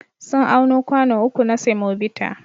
Sun auno kwano uku na semobita.